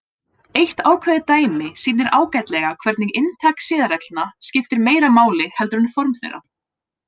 Eitt ákveðið dæmi sýnir ágætlega hvernig inntak siðareglna skiptir meira máli heldur en form þeirra.